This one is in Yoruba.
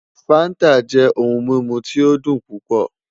Fanta jẹ ohun mimu ti o dun pupọ